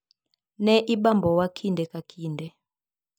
"Ne ibambowa kinde ka kinde."